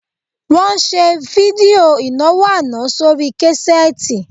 Wọ́n ṣe fídíò ìnáwó àná sórí késẹ́ẹ́tì